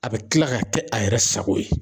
A bɛ kila ka kɛ a yɛrɛ sago ye.